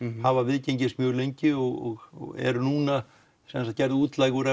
hafa viðgengist lengi og eru nú gerð útlæg úr